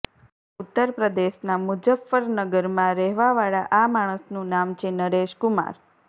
ઉત્તર પ્રદેશના મુઝફ્ફરનગરમાં રહેવાવાળા આ માણસનું નામ છે નરેશ કુમાર